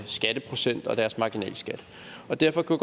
skatteprocent og deres marginalskat derfor kunne